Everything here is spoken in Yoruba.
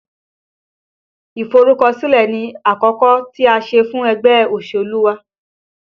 Iforukosile ni àkọ́kọ́ tí a ṣe fún ẹgbẹ́ òṣèlú wa